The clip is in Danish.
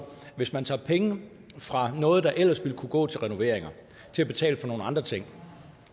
hvis man tager penge fra noget der ellers ville kunne gå til renoveringer og til at betale for nogle andre ting